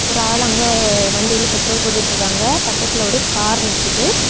ஒரு ஆள் அங்க வண்டியில பெட்ரோல் போட்டுட்டு இருக்காங்க பக்கத்துல ஒரு கார் நிக்குது.